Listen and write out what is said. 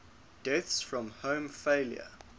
deaths from heart failure